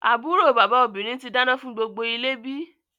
Àbúrò bàbá obìnrin tí dáná fún gbogbo ilé bí?